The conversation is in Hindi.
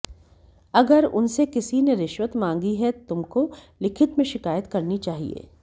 अगर उनसे किसी ने रिश्वत मांगी है तुमको लिखित में शिकायत करनी चाहिए